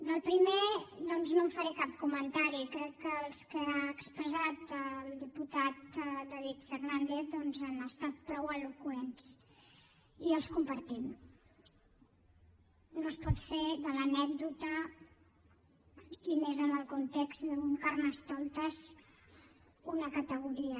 del primer doncs no en faré cap comentari crec que els que ha expressat el diputat david fernàndez doncs han estat prou eloqüents i els compartim no es pot fer de l’anècdota i més en el context d’un carnestoltes una categoria